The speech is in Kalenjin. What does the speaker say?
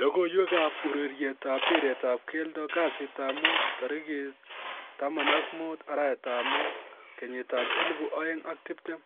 logoiywekab urerietab mpiretab keldo kasitab mut 15.05.2020: